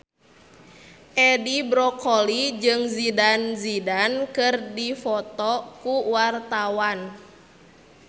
Edi Brokoli jeung Zidane Zidane keur dipoto ku wartawan